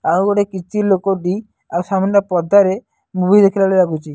ଆଉ ଗୋଟେ କିଚି ଲୋକଟି ଆଉ ସାମ୍ନା ପଦାରେ ମୁଭି ଦେଖିଲା ଭଳି ଲାଗୁଚି।